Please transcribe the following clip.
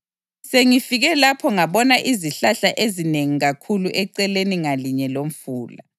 Sengifike lapho ngabona izihlahla ezinengi kakhulu eceleni ngalinye lomfula.